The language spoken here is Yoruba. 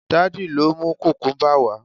daddy lọ mu kukumba wa